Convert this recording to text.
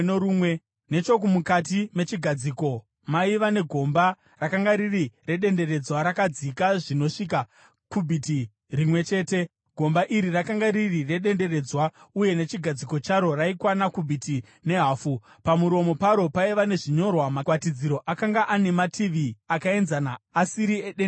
Nechomukati mechigadziko maiva negomba rakanga riri redenderedzwa rakadzika zvinosvika kubhiti rimwe chete . Gomba iri rakanga riri redenderedzwa, uye nechigadziko charo raikwana kubhiti nehafu . Pamuromo paro paiva nezvinyorwa. Magwatidziro akanga ane mativi akaenzana, asiri edenderedzwa.